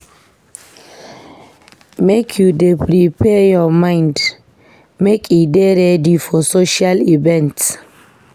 Make you dey prepare your mind make e dey ready for social events.